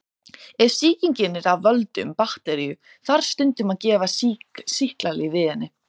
Ef sýkingin er af völdum bakteríu þarf stundum að gefa sýklalyf við henni.